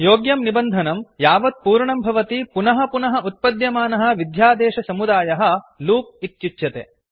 योग्यं निबन्धनं यावत् पूर्णं भवति पुनः पुनः उत्पद्यमानः विध्यादेशसमुदायः कोड् लूप् इत्युच्यते